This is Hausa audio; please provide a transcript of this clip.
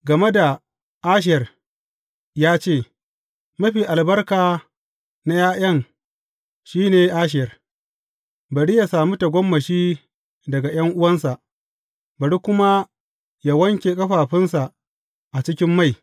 Game da Asher ya ce, Mafi albarka na ’ya’yan, shi ne Asher; bari yă sami tagomashi daga ’yan’uwansa, bari kuma yă wanke ƙafafunsa a cikin mai.